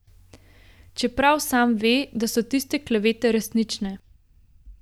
Čeprav sam ve, da so tiste klevete resnične.